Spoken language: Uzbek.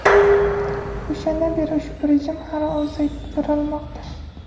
O‘shandan beri ushbu rejim har oy uzaytirilmoqda.